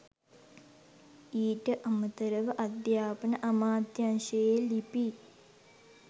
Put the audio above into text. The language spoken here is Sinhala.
ඊට අමතරව අධ්‍යාපන අමාත්‍යංශයේ ලිපි